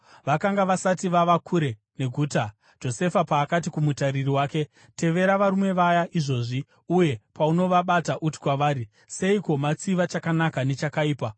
Vakanga vasati vava kure neguta Josefa paakati kumutariri wake, “Tevera varume vaya izvozvi, uye paunovabata, uti kwavari, ‘Seiko matsiva chakanaka nechakaipa?